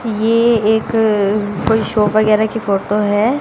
ये एक कोई शॉप वगैरह की फोटो है।